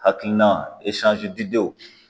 Hakilina